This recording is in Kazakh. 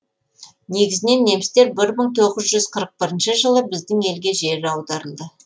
негізінен немістер бір мың тоғыз қырық бірінші жылы біздің елге жер аударылды